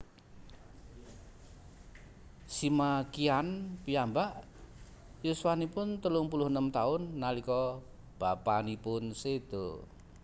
Sima Qian piyambak yuswanipun telung puluh enem taun nalika bapanipun séda